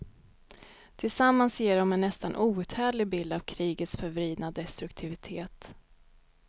Tillsammans ger de en nästan outhärdlig bild av krigets förvridna destruktivitet.